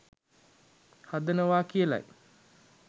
හදනවා කියලයි.